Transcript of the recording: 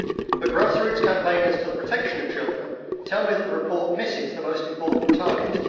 The grassroots campaigners for the protection of children tell me that the report misses the most important target.